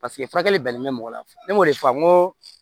Paseke furakɛli bɛnnen bɛ mɔgɔ la ne m'o de fɔ n ko